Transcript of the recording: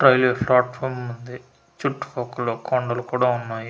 Railway platform ఉంది చుట్టు పక్కల కొండలు కూడా ఉన్నాయి.